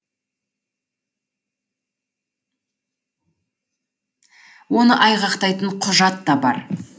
оны айғақтайтын құжат та бар